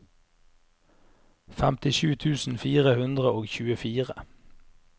femtisju tusen fire hundre og tjuefire